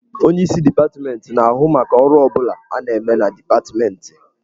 Onyeisi dipatmentị na-ahụ maka ọrụ ọ bụla a na-eme na dipatmentị.